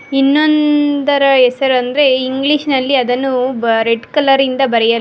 ಇನ್ನೊಂದರ ಹೆಸರೆಂದರೆ ಇಂಗ್ಲೀಷ್ ನಲ್ಲಿ ಅದನ್ನು ಬ ರೆಡ್ ಕಲರಿಂದ ಬರೆಯಲಾ--